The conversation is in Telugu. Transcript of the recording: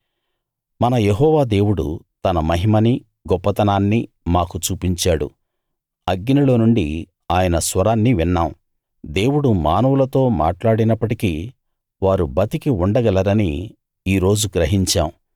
మన యెహోవా దేవుడు తన మహిమని గొప్పతనాన్ని మాకు చూపించాడు అగ్నిలో నుండి ఆయన స్వరాన్ని విన్నాం దేవుడు మానవులతో మాట్లాడినప్పటికీ వారు బతికి ఉండగలరని ఈ రోజు గ్రహించాం